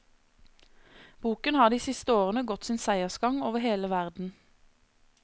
Boken har de siste årene gått sin seiersgang over hele verden.